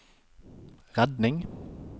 redning